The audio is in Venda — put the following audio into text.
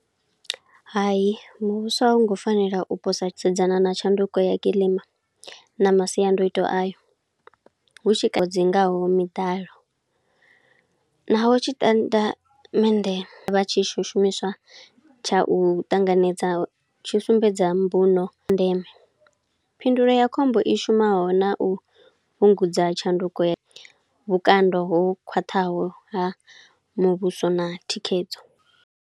Hayi muvhuso a wu ngo fanela u posa, u sedzana na tshanduko ya kiḽima na masiandoitwa ayo, hu tshi ka dzingaho miḓalo. Naho tshi tandamende vha tshi shu shumiswa tsha u ṱanganedza, tshi sumbedza mbuno ndeme. Phindulo ya khombo i shumaho na u fhungudza tshanduko ya vhukando ho khwaṱhaho ha muvhuso na thikhedzo.